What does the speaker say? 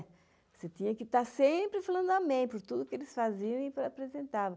Você tinha que estar sempre falando amém por tudo que eles faziam e apresentavam.